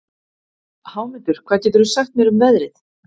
Hámundur, hvað geturðu sagt mér um veðrið?